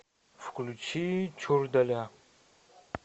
включи чурдаля